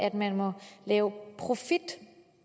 at man må lave profit